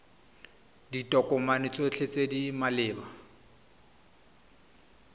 ditokomane tsotlhe tse di maleba